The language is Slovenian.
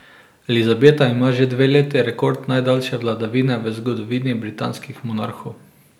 Elizabeta ima že dve leti rekord najdaljše vladavine v zgodovini britanskih monarhov.